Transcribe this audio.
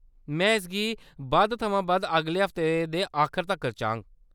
में इसगी बद्ध थमां बद्ध अगले हफ्ते दे आखर तक्कर चाह्गा।